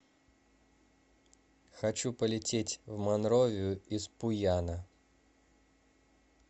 хочу полететь в монровию из пуяна